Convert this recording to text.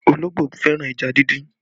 Ológbò fẹ́ràn ẹja dindin